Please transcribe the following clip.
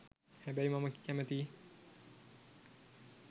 හැබැයි මම කැමති